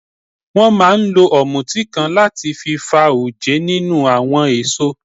Wọ́n máa ń lo ọ̀mùtí kan láti fi fa oje nínú àwọn èso.